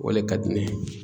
O le ka di ne ye.